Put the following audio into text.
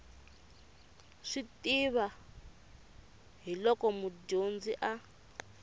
swi tiva hiolko mudyondzi a